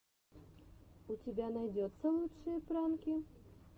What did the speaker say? у тебя найдется лучшие пранки